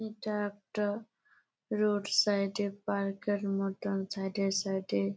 এটা একটা রোড সাইডে পার্কের মতন সাইডে সাইডে --